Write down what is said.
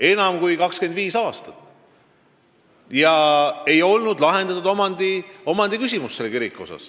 Tervelt 25 aasta jooksul ei suudetud Niguliste kiriku omandiküsimust lahendada.